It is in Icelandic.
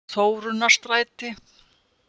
Þórunnarstræti